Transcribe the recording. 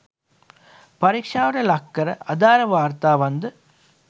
පරීක්ෂාවට ලක් කර අදාළ වාර්තාවන්ද